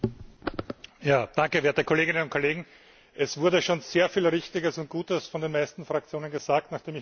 Herr Präsident, werte Kolleginnen und Kollegen! Es wurde schon sehr viel Richtiges und Gutes von den meisten Fraktionen gesagt.